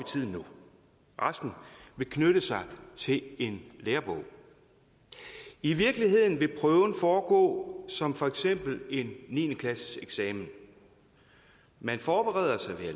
tiden resten vil knytte sig til en lærebog i virkeligheden vil prøven foregå som for eksempel en niende klasseeksamen man forbereder sig